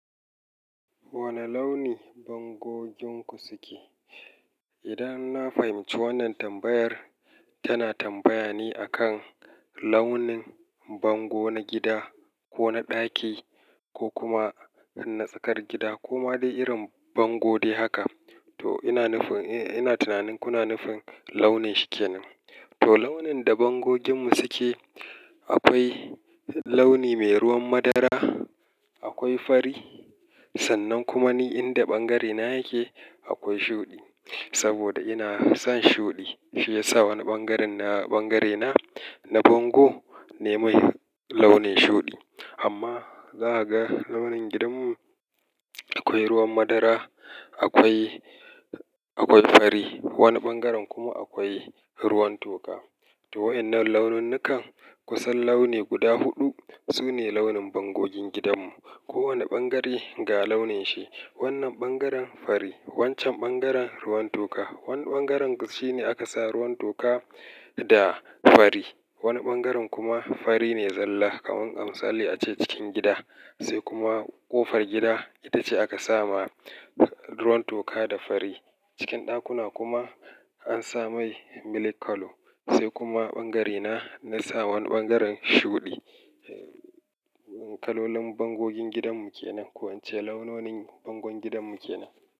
Wane launi bangogin ku suke? Idan na fahimci wannan tambayar tana tambaya ne a kan launin bango na gida ko na ɗaki ko kuma na tsakar gida ko ma dai irin bango dai haka, to ina nufin, ina tunanin kuna nufin launin shikenan. To launin da bangogin mu suke akwai launi mai ruwan madara, akwai fari sannan kuma ni inda ɓangare na yake akwai shuɗi. Saboda ina son shuɗi shiyasa wani bangaren bangare na, na bango nayi launin shuɗi. Amma za a ga launin gidanmu akwai ruwan madara, akwai, akwai fari, wani bangaren kuma akwai ruwan toka. To wa'ennan launinnukan kusan launi guda huɗu sune launin bangogin gidanmu. Kowane bangare ga launin shi. Wannan bangaren fari, wancan bangaren ruwan toka, wani bangaren shi ne aka sa ruwan toka da fari. Wani bangaren kuma fari ne zalla kamar misali ace cikin gida sai kuma ƙofar gida ita ce aka sama ruwan toka da fari. Cikin ɗakuna kuma an sa mai milk colour sai kuma bangare na na sa wani bangaren shuɗi. Kalolin bangogin gidanmu kenan. Ko ince launonin bangogin gidanmu kenan.